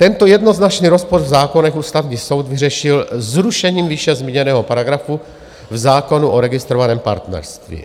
Tento jednoznačný rozpor v zákonech Ústavní soud vyřešil zrušením výše zmíněného paragrafu v zákonu o registrovaném partnerství.